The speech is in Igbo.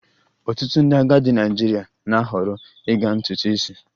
Ọtụtụ ndị agadi Naịjirịa na-ahọrọ ịga ntutu isi